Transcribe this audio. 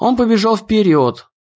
он побежал вперёд